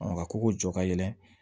Ka kogo jɔ ka yɛlɛn